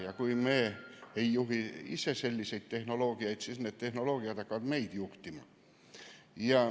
Ja kui me ise tehnoloogiat ei juhi, siis hakkab see meid juhtima.